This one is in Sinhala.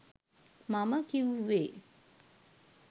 මම කිව්වේ